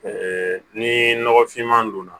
ni nɔgɔ finman don na